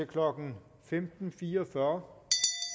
klokken femten fire og fyrre